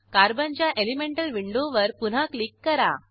कार्बनच्या elemental विंडोवर पुन्हा click करा